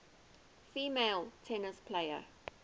female tennis players